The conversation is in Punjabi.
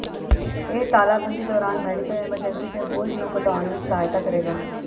ਇਹ ਤਾਲਾਬੰਦੀ ਦੌਰਾਨ ਮੈਡੀਕਲ ਐਮਰਜੈਂਸੀ ਦੇ ਬੋਝ ਨੂੰ ਘਟਾਉਣ ਵਿੱਚ ਸਹਾਇਤਾ ਕਰੇਗਾ